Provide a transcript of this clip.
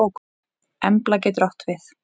Embla getur átt við